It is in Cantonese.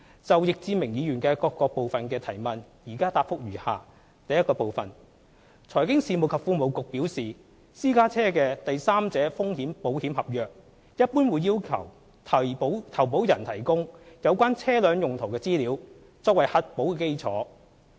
就易志明議員的主體質詢各部分提問，現答覆如下：一財經事務及庫務局表示，私家車的第三者風險保險合約一般會要求投保人提供有關車輛用途的資料，作為核保基礎。